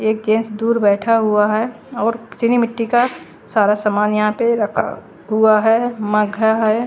एक केश दूर बैठा हुआ हैं और चीनी मिटटी का सारा सामान यहाँ पर रखा हुआ हैं मघ्घा हैं ।